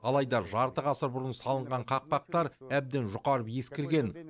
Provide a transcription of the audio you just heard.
алайда жарты ғасыр бұрын салынған қақпақтар әбден жұқарып ескірген